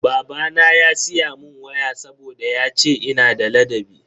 Babana ya siya mun waya saboda yace ina da ladabi.